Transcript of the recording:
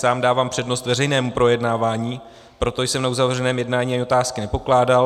Sám dávám přednost veřejnému projednávání, proto jsem na uzavřeném jednání ani otázky nepokládal.